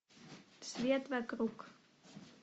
свет вокруг